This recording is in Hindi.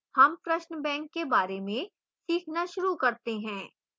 हम प्रश्न banks के बारे में सीखना शुरू करते हैं